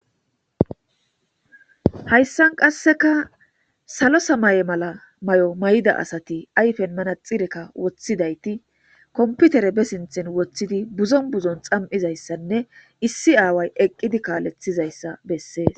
hayssan qasseka salo samaye mala may7o may7da asati ayfen mana xireka woththidayti komputere be sinthen woththidi buzon buzon xam7izayssanne issi aaway eqqidi kaalethizayssa bessees